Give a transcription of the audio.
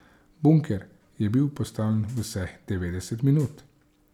Bunker je bil postavljen vseh devetdeset minut.